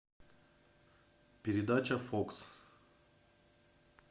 передача фокс